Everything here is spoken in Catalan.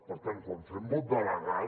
per tant quan fem vot delegat